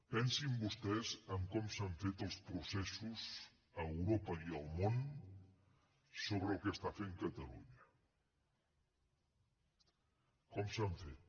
pensin vostès com s’han fet els processos a europa i al món sobre el que està fent catalunya com s’han fet